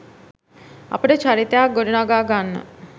අපට චරිතයක් ගොඩනගා ගන්න